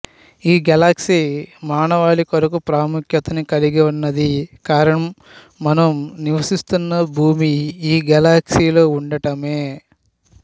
ఈ గేలక్సీ మానవాళికొరకు ప్రాముఖ్యతను కలిగి వున్నది కారణం మనం నివసిస్తున్న భూమి ఈ గేలక్సీలో వుండడమే